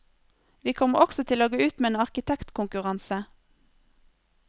Vi kommer også til å gå ut med en arkitektkonkurranse.